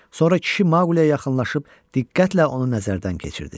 Sonra kişi Maquliyə yaxınlaşıb diqqətlə onu nəzərdən keçirdi.